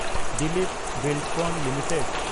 Dilip Buildcon limited